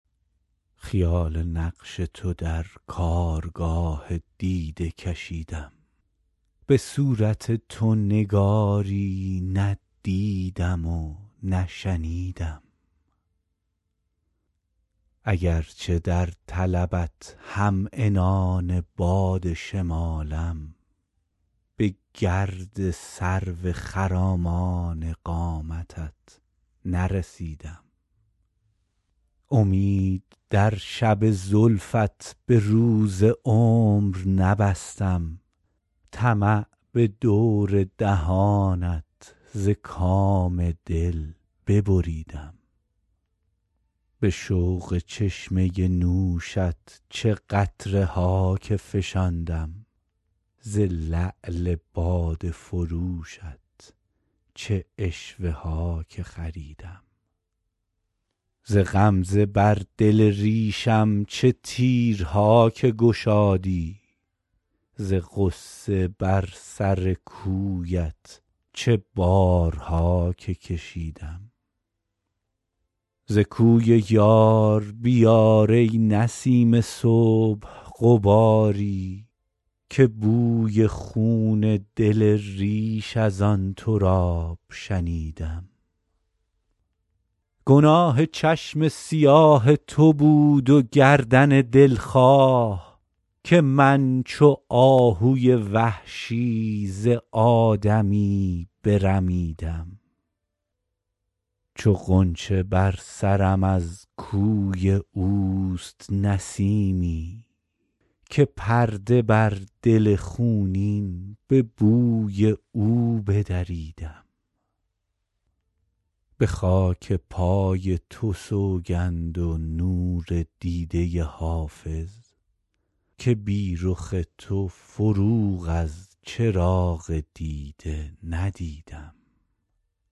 خیال نقش تو در کارگاه دیده کشیدم به صورت تو نگاری ندیدم و نشنیدم اگرچه در طلبت هم عنان باد شمالم به گرد سرو خرامان قامتت نرسیدم امید در شب زلفت به روز عمر نبستم طمع به دور دهانت ز کام دل ببریدم به شوق چشمه نوشت چه قطره ها که فشاندم ز لعل باده فروشت چه عشوه ها که خریدم ز غمزه بر دل ریشم چه تیرها که گشادی ز غصه بر سر کویت چه بارها که کشیدم ز کوی یار بیار ای نسیم صبح غباری که بوی خون دل ریش از آن تراب شنیدم گناه چشم سیاه تو بود و گردن دلخواه که من چو آهوی وحشی ز آدمی برمیدم چو غنچه بر سرم از کوی او گذشت نسیمی که پرده بر دل خونین به بوی او بدریدم به خاک پای تو سوگند و نور دیده حافظ که بی رخ تو فروغ از چراغ دیده ندیدم